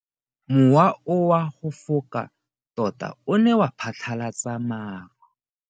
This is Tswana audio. Mowa o wa go foka tota o ne wa phatlalatsa maru.